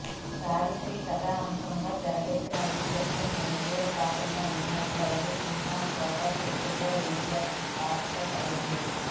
సావిత్రి కథాంశంతో తెరకెక్కిన ఈ చిత్రంలో ఎన్టీఆర్ పాత్రను ఉంచినట్లయితే సినిమా ఫోకస్ ఎక్కువ ఎన్టీఆర్పై పడేది